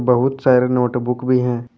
बहुत सारे नोटबुक भी हैं।